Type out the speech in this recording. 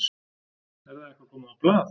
Er það eitthvað komið á blað?